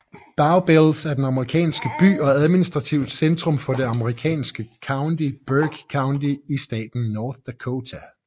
Bowbells er en amerikansk by og administrativt centrum for det amerikanske county Burke County i staten North Dakota